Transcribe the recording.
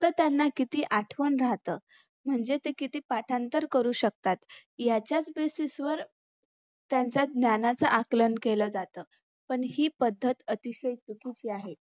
तर त्यांना किती आठवण राहतं म्हणजे ते किती पाठांतर करू शकतात याच्याच basis वर त्यांच ज्ञानच आकलन केलं जात पण ही पद्धत अतिशय चुकीची आहे